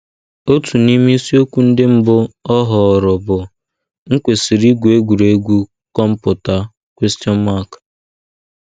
Otu n’ime isiokwu ndị mbụ ọ họọrọ bụ ‘ M̀ Kwesịrị Igwu Egwuregwu Kọmputa? ’